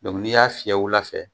N'i y'a fiyɛ wula fɛ